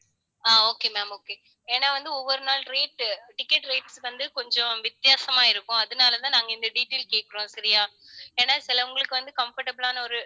ஆஹ் okay ma'am okay ஏன்னா வந்து, ஒவ்வொரு நாள் rate ticket rates வந்து, கொஞ்சம் வித்தியாசமா இருக்கும். அதனாலதான் நாங்க இந்த detail கேட்கிறோம். சரியா ஏன்னா சிலவங்களுக்கு வந்து, comfortable ஆன ஒரு